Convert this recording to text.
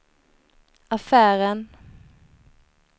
affären